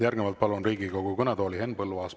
Järgnevalt palun Riigikogu kõnetooli Henn Põlluaasa.